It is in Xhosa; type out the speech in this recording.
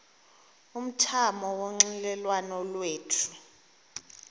umthamo wonxielelwano lwethu